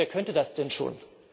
Wer könnte das denn schon?